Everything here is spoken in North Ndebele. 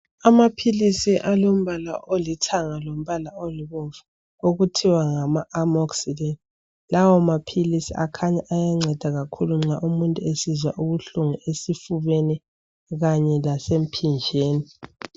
Amaphilisi alombala olithanga lombala olibomvu okuthiwa ngama amocillin lawa maphilisi akhanya ayanceda kakhulu nxa umuntu esizwa ubuhlungu esifubeni kanye lasemphinjeni.